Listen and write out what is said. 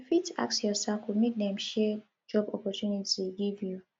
you fit ask your circle make dem share job opportunity give you